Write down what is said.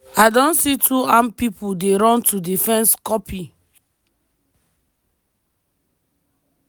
"i don see two armed pipo dey run to di fence copy."